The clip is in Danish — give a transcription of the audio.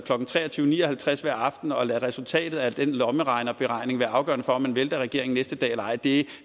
klokken tre og tyve ni og halvtreds hver aften og lade resultatet af den lommeregnerberegning være afgørende for om vi vælter regeringen næste dag eller ej vi